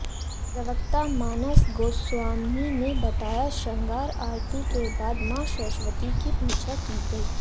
प्रवक्ता मानस गोस्वामी ने बताया शृंगार आरती के बाद मां सरस्वती की पूजा की गई